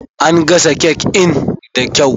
An gasa cake in da kyau.